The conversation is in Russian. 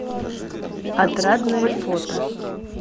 отрадное фото